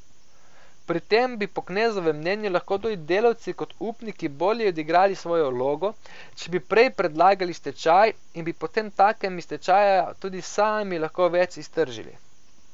Pri tem bi po Knezovem mnenju lahko tudi delavci kot upniki bolje odigrali svojo vlogo, če bi prej predlagali stečaj in bi potemtakem iz stečaja tudi sami lahko več iztržili.